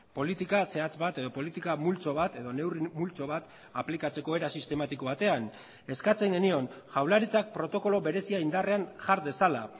politika zehatz bat edo politika multzo bat edo neurri multzo bat aplikatzeko era sistematiko batean eskatzen genion jaurlaritzak protokolo berezia indarrean jar dezala